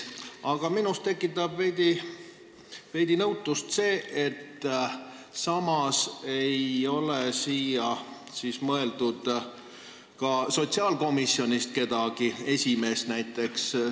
Aga minus tekitab veidi nõutust see, et sinna ei ole ette nähtud kedagi sotsiaalkomisjonist, näiteks esimeest.